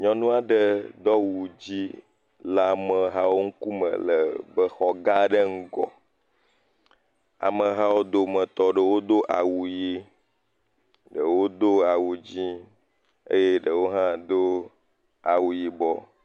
Nyɔnu aɖe do awu szi le amehawo ŋkume le xɔ gã aɖe ŋgɔ. Amehawo wo dometɔ aɖewo do awu ʋi ɖewo do awu dzi eye ɖewo hã do awu yibɔ.